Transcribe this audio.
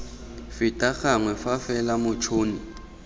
feta gangwe fa fela motšhoni